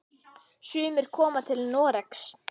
Sumir koma til Noregs.